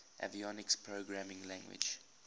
avionics programming language